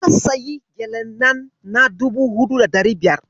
Na sayi gyalen nan na dubu huɗu da ɗari biyar.